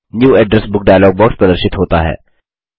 new address book dialog box प्रदर्शित होता है